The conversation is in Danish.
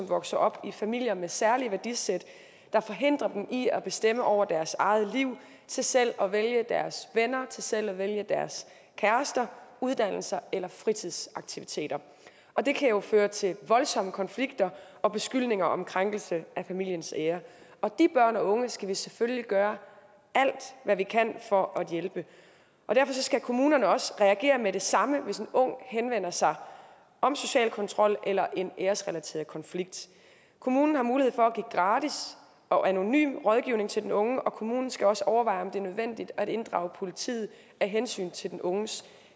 vokser op i familier med særlige værdisæt der forhindrer dem i at bestemme over deres eget liv til selv at vælge deres venner til selv at vælge deres kærester uddannelser eller fritidsaktiviteter og det kan jo føre til voldsomme konflikter og beskyldninger om krænkelse af familiens ære og de børn og unge skal vi selvfølgelig gøre alt hvad vi kan for at hjælpe derfor skal kommunerne også reagere med det samme hvis en ung henvender sig om social kontrol eller en æresrelateret konflikt kommunen har mulighed for at give gratis og anonym rådgivning til den unge og kommunen skal også overveje om det er nødvendigt at inddrage politiet af hensyn til den unges